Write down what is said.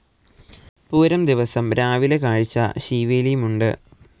പൂരം ദിവസം രാവിലെ കാഴ്ച ശീവേലിയും ഉണ്ട്.